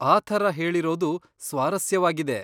ಆ ಥರ ಹೇಳಿರೋದು ಸ್ವಾರಸ್ಯವಾಗಿದೆ.